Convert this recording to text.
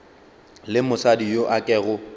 le mosadi yo a kego